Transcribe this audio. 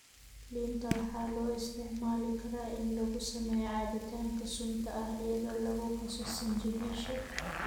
Liinta waxaa loo isticmaali karaa in lagu sameeyo cabitaanka sunta ah iyadoo lagu qaso sinjibiisha.